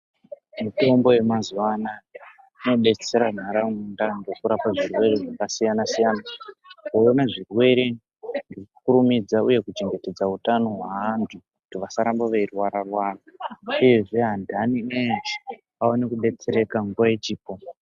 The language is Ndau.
Mitombo yemazuva inodetsera nharaunda nekurapa zvirwere zvakasiyana siyana kuona zvirwere kukurumidza uye kuchengetedza hutano hwevantu kuti vasaramba veirwara rwara uyezve vantaii veshe vawane kudetsereka nguwa ichipo.